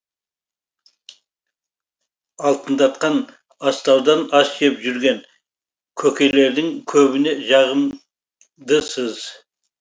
алтындатқан астаудан ас жеп жүрген көкелердің көбіне жағымдысыз